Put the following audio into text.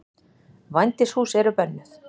Vændishús eru bönnuð.